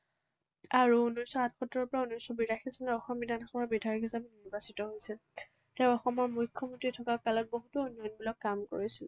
আৰু ঊনৈশশ আঠসত্তৰৰ পৰা ঊনৈশশ বিৰাশী চনলৈ অসম বিধানসভাৰ বিধায়ক হিচাপে নিৰ্বাচিত হৈছিল। তেওঁ অসমৰ মুখ্যমন্ত্ৰী থকা কালত বহুতো উন্নয়নমূলক কাম কৰিছিল।